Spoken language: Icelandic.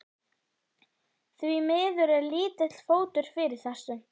Því miður er lítill fótur fyrir þessu.